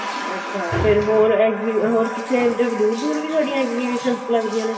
ਅੱਛਾ ਫਿਰ ਹੋਰ exhibit ਹੋਰ ਕਿਤੇ ਵੀ ਦੂਰ ਦੂਰ ਵੀ ਤੁਹਾਡੀਆਂ exhibitions ਲੱਗਦੀਆਂ ਨੇ